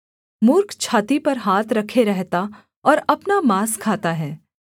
मूर्ख छाती पर हाथ रखे रहता और अपना माँस खाता है